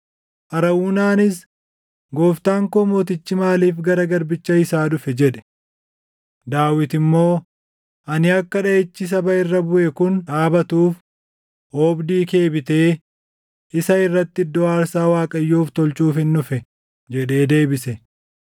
Arawunaanis, “Gooftaan koo mootichi maaliif gara garbicha isaa dhufe?” jedhe. Daawit immoo, “Ani akka dhaʼichi saba irra buʼe kun dhaabatuuf, oobdii kee bitee isa irratti iddoo aarsaa Waaqayyoof tolchuufin dhufe” jedhee deebise.